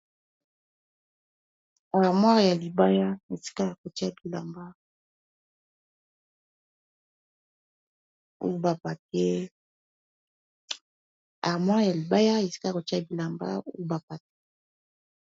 Armoire ya libaya esika ya kotia bilamba ou ba papier.